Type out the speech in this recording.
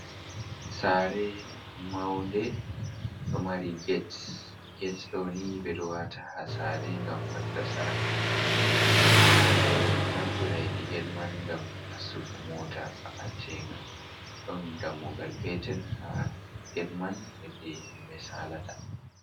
"Saare" maunde ɗo mari get get ɗoni ɓeɗo wata ha saare ngam fadda saare, ɓeɗo naftira heɗi get man ngam nastugo moota ba’antenga ɗon dammugal petel ha get man heɗi himɓe salata.